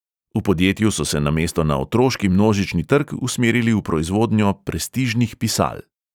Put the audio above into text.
V podjetju so se namesto na otroški množični trg usmerili v proizvodnjo prestižnih pisal.